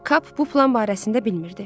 Kap bu plan barəsində bilmirdi.